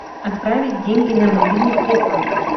отправить деньги на мобильный телефон